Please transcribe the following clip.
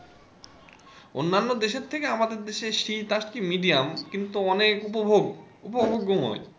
অন্যান্য দেশের থেকে আমার দেশে শীত আজকে medium কিন্তু অনেক উপভোগ, উপভোগ্যময়।